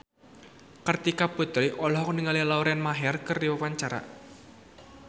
Kartika Putri olohok ningali Lauren Maher keur diwawancara